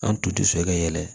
An tun tɛ so ka yɛlɛ